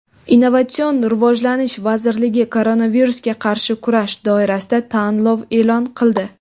Innovatsion rivojlanish vazirligi koronavirusga qarshi kurash doirasida tanlov e’lon qildi.